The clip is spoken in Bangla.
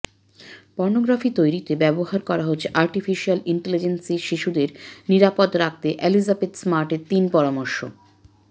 পর্নোগ্রাফি তৈরিতে ব্যবহার করা হচ্ছে আর্টিফিশিয়াল ইন্টেলিজেন্সশিশুদের নিরাপদ রাখতে অ্যালিজাবেথ স্মার্টের তিন পরামর্শ